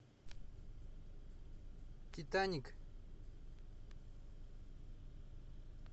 титаник